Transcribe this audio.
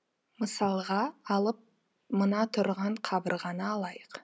мысалға алып мына тұрған қабырғаны алайық